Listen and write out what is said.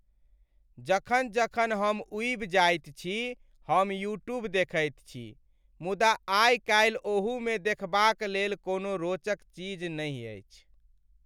जखन जखन हम ऊबि जाइत छी, हम यूट्यूब देखैत छी। मुदा आइ काल्हि ओहूमे देखबाक लेल कोनो रोचक चीज नहि अछि।